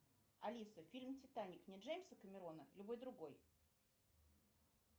алиса фильм титаник не джеймса камерона любой другой